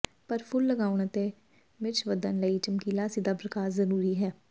ਪਰ ਫੁੱਲ ਲਗਾਉਣ ਅਤੇ ਮਿਰਚ ਵਧਣ ਲਈ ਚਮਕੀਲਾ ਸਿੱਧਾ ਪ੍ਰਕਾਸ਼ ਜ਼ਰੂਰੀ ਹੈ